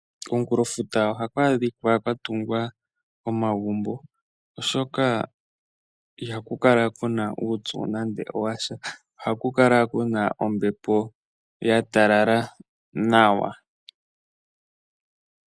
Komunkulo futa ohaku adhika kwa tungwa omagumbo, oshoka ihaku kalakuna uupyu nande washa. Ohaku kala kuna ombepo ya talala nawa.